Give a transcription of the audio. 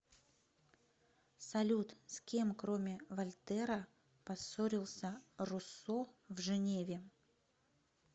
салют с кем кроме вольтера поссорился руссо в женеве